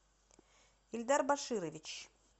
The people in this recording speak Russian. ильдар баширович